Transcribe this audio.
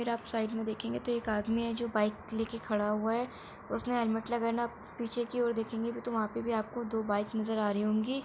अगर आप साइड मे देखेंगे तो एक आदमी है जो बाइक लेके खड़ा हुआ है। उसने हेलमेट लगाना पीछे की और देखेंगे तो वहां भी आपको दो बाइक नज़र आ रही होंगी।